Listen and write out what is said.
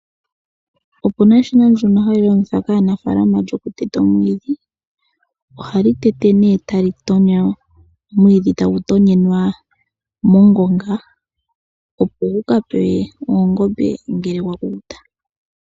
Opuna eshina ndyoka hali longithwa kanafaalama okuteta omwiidhi. Ohali tete omwiidhi tagu tonyenwa mongonga, opo gukaliwe kiimuna ngele gwakukuta.